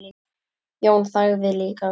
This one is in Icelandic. Jón þagði líka.